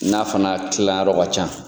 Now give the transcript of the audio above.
N'a fana tilan yɔrɔ ka can.